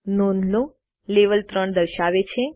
નોંધ લો લેવેલ 3 દર્શાવે છે